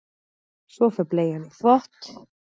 Svo fer bleian í þvott.